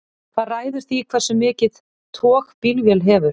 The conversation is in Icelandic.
hvað ræður því hversu mikið tog bílvél hefur